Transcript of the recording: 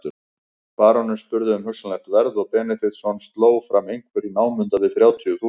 Baróninn spurði um hugsanlegt verð og Benediktsson sló fram einhverju í námunda við þrjátíu þúsund.